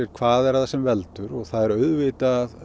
hvað það er sem veldur það er auðvitað